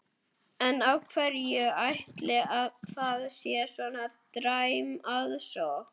En af hverju ætli að það sé svona dræm aðsókn?